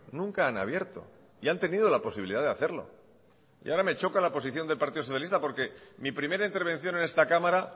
nunca han abierto y han tenido la posibilidad de hacerlo y ahora me choca la posición del partido socialista porque mi primera intervención en esta cámara